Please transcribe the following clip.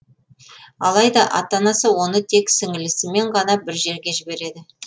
алайда ата анасы оны тек сіңілісімен ғана бір жерге жібереді